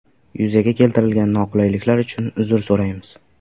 Yuzaga keltirilgan noqulayliklar uchun uzr so‘raymiz.